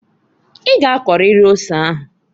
I g'akọrịrị ose ahuǃ